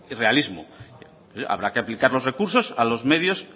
realismo habrá que aplicar los recursos a los medios